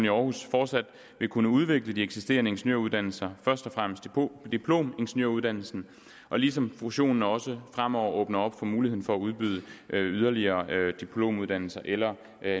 i århus fortsat vil kunne udvikle de eksisterende ingeniøruddannelser først og fremmest diplomingeniøruddannelsen ligesom fusionen også fremover åbner op for muligheden for at udbyde yderligere diplomuddannelser eller